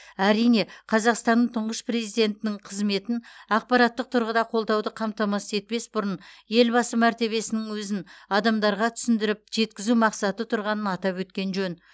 әрине қазақстанның тұңғыш президентінің қызметін ақпараттық тұрғыда қолдауды қамтамасыз етпес бұрын елбасы мәртебесінің өзін адамдарға түсіндіріп жеткізу мақсаты тұрғанын атап өткен жөн